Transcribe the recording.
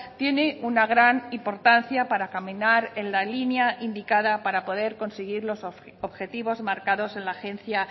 tiene una gran importancia para caminar en la línea indicada para poder conseguir los objetivos marcados en la agencia